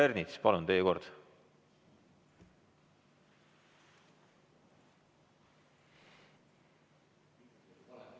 Härra Ernits, palun, teie kord!